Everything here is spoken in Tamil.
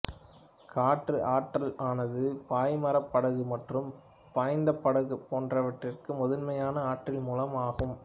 காற்று ஆற்றல் ஆனது பாய்மரப் படகு மற்றும் பந்தயப் படகு போன்றவற்றிற்கு முதன்மையான ஆற்றல் மூலம் ஆகும்